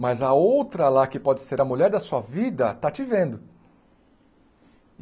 Mas a outra lá, que pode ser a mulher da sua vida, está te vendo.